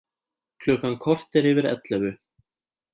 Klukkan korter yfir ellefu